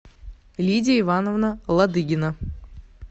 лидия ивановна ладыгина